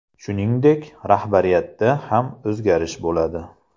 Shuningdek, rahbariyatda ham o‘zgarish bo‘ladi.